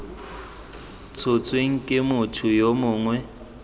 tshotsweng ke motho yo mongwe